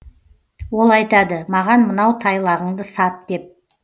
ол айтады маған мынау тайлағыңды сат деп